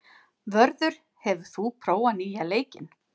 Vörður, hefur þú prófað nýja leikinn?